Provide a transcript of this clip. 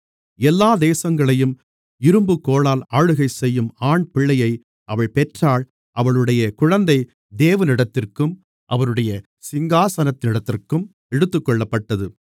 எல்லா தேசங்களையும் இரும்புக்கோலால் ஆளுகைசெய்யும் ஆண்பிள்ளையை அவள் பெற்றாள் அவளுடைய குழந்தை தேவனிடத்திற்கும் அவருடைய சிங்காசனத்தினிடத்திற்கும் எடுத்துக்கொள்ளப்பட்டது